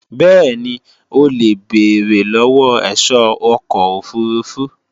bẹ́ẹ̀ni, o lè béèrè lọ́wọ́ ẹ̀ṣọ́ ọkọ̀ òfurufú